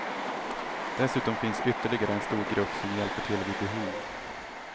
Dessutom finns ytterligare en stor grupp som hjälper till vid behov.